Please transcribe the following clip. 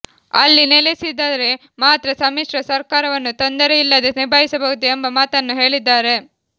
ಅಲ್ಲಿ ನೆಲೆಸಿದರೆ ಮಾತ್ರ ಸಮ್ಮಿಶ್ರ ಸರ್ಕಾರವನ್ನು ತೊಂದರೆಯಿಲ್ಲದೇ ನಿಭಾಯಿಸಬಹುದು ಎಂಬ ಮಾತನ್ನು ಹೇಳಿದ್ದಾರೆ